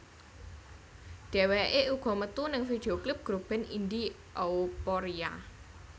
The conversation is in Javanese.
Dheweké uga metu ning video klip grup band Indi Euphoria